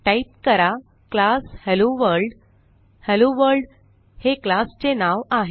type करा class hello world hello world हे classचे नाव आहे